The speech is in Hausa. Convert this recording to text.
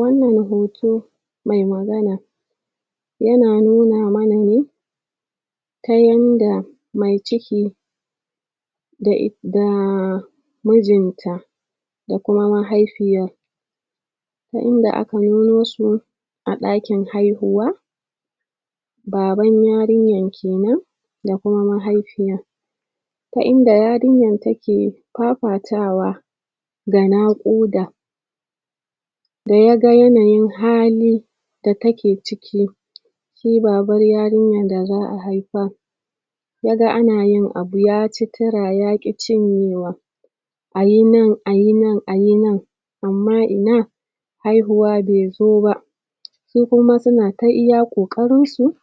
wannan hoto me magana yana nuna mana ne ta yanda me ciki da daaa mijinta da kuma mahaifiya ta inda aka yo musu a ɗakin haihuwa baban yarinyar kenan da kuma mahaifin ko inda yarinya take fafatawa da naƙuda da ya ga yanayin hali da take ciki shi baban yarinyar da za' a haifa ga ka ana yin abu ya ci tura ya ƙi cinyewa ayi nan ayi nan ayi nan amma ina haihuwa bai zo ba su kuma suna ta iya ƙoƙarinsu